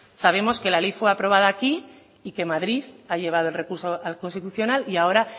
sabemos que la ley fue aprobada aquí y que madrid ha llevado el recurso al constitucional y ahora